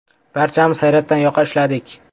Barchamiz hayratdan yoqa ushladik.